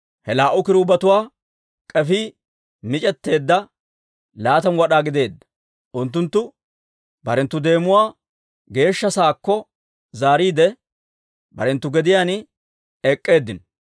Ha laa"u kiruubetuwaa k'efii mic'etteedda, laatamu wad'aa gideedda; unttunttu barenttu deemuwaa Geeshsha Sa'aakko zaariide, barenttu gediyaan ek'k'eeddinno.